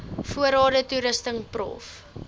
voorrade toerusting prof